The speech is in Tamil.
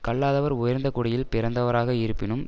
கல்லாதவர் உயர்ந்த குடியில் பிறந்தவராக இருப்பினும்